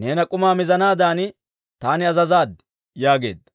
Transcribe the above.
neena k'umaa mizanaadan taani azazaad» yaageedda.